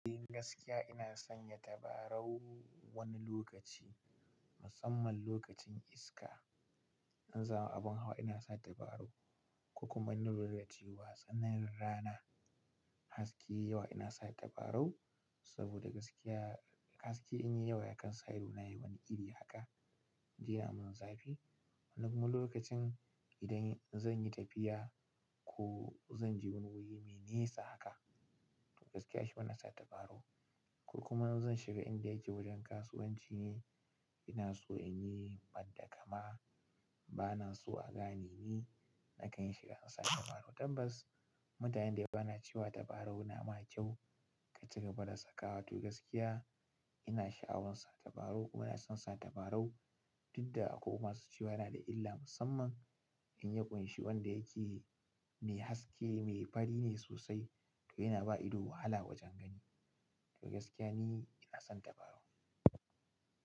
Gaskiya ina sanya tabarau wani lokaci musamman alokacin iska in zan hau abun hawa inasa tabarau ko kuma in na lura da cewa tsananin rana haske yai yawa ina sa tabarau saboda gaskiya haske in yi yawa ya kan sa ido na yi wani iri haka, iya mun zafi. Kuma lokacin idan zan yi tafiya ko zan je wani wuti me nesa haka, gaskiya shi bana sa tabarau. Kuma in zan shiga inda yake wajen kasuwanci ne ina so in yi badda kama bana so agane ni, nakan yi shiga in sa tabarau. Tabbas mutanen da yawa na cewa tabarau na ma kyau ka cigaba da sakawa to gaskiya ina shaawan sa tabarau ina son sa tabarau, duk da akwai masu cewa yana da illa musamman in ya kunshi wanda yake mai haske, mai fari ne sosai yana ba ido wahala wajen gani. To gaskiya ni ina son tabarau.